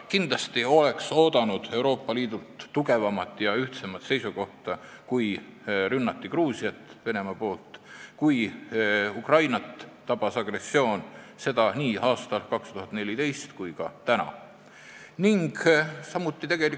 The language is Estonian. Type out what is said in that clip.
Kindlasti ootasime Euroopa Liidult tugevamat ja ühtsemat seisukohta, kui Venemaa ründas Gruusiat, kui Ukrainat tabas agressioon, seda nii aastal 2014 kui ka nüüd.